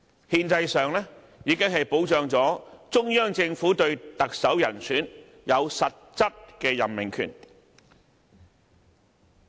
"憲制上已經保障中央政府對特首人選有實質任命權。